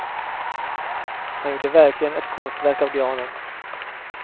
Han gjorde verkligen ett konstverk av granen.